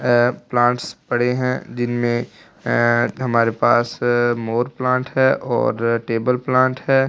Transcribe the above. अ plants पड़े हैं जिनमें अ हमारे पास मोर प्लांट हैं और टेबल प्लांट हैं और --